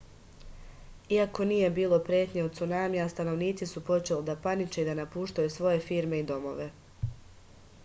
iako nije bilo pretnje od cunamija stanovnici su počeli da paniče i napuštaju svoje firme i domove